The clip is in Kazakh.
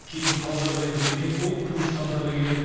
кейін қал жағдайын білмек болып туысқандары келеді